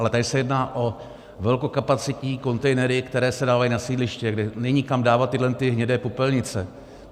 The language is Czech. Ale tady se jedná o velkokapacitní kontejnery, které se dávají na sídliště, kde není kam dávat tyhle hnědé popelnice.